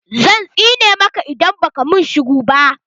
Zan tsine maka idan baka min shiru ba